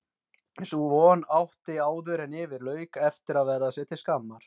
Sú von átti áðuren yfir lauk eftir að verða sér til skammar.